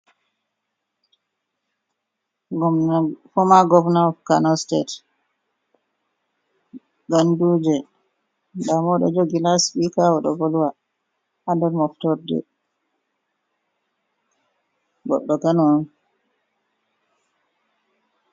Gomna foma gomna of Kano sitet Ganduje, ndamoɗo jogi laspika o ɗo volwa andar moftorde, goɗɗo Kano on.